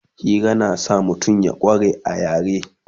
Hira na sa mutum ya kware a yare